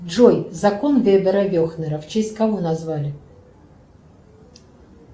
джой закон вебера вехнера в честь кого назвали